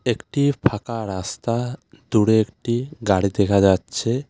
একটি ফাঁকা রাস্তা দূরে একটি গাড়ি দেখা যাচ্ছে.